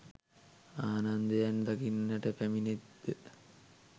ආනන්දයන් දකින්නට පැමිණෙත් ද